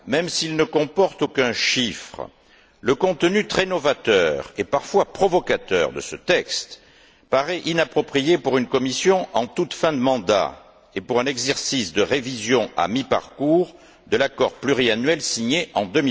Même s'il ne comporte aucun chiffre, le contenu très novateur, et parfois provocateur, de ce texte paraît inapproprié pour une Commission en toute fin de mandat et pour un exercice de révision à mi parcours de la convention pluriannuelle signé en